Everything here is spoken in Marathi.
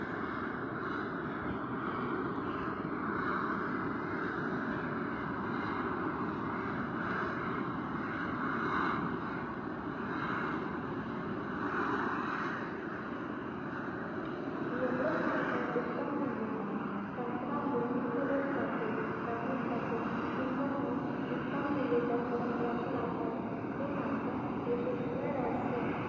एवढच नाही तर उत्तम निवेदन तंत्रामुळे मी खुलत जाते, रंगत जाते किंवहुन उत्तम निवेदन तंत्राचे वापर हे माझ्या यशस्वी रहस्य.